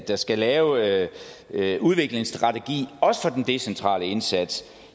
der skal lave en udviklingsstrategi også den decentrale indsats